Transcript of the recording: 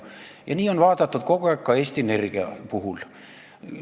Ja nii on vaadatud kogu aeg ka Eesti Energia puhul.